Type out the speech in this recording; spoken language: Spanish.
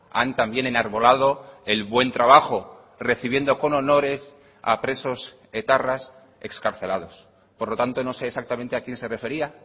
han también enarbolado el buen trabajo recibiendo con honores a presos etarras excarcelados por lo tanto no sé exactamente a quién se refería